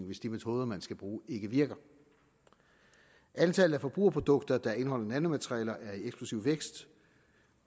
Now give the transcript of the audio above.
hvis de metoder man skal bruge ikke virker antallet af forbrugerprodukter der indeholder nanomaterialer er i eksplosiv vækst